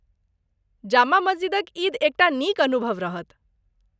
जामा मस्जिदक ईद एकटा नीक अनुभव रहत।